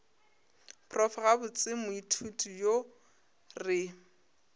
prof gabotse moithuti yo re